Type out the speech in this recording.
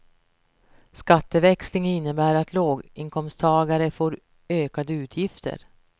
Skatteväxling innebär att låginkomsttagare får ökade utgifter.